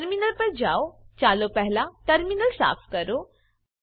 terminal પર જાઓ ચાલો પહેલા ટર્મિનલ સાફ કરો